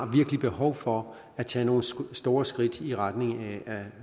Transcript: behov for at tage nogle store skridt i retning af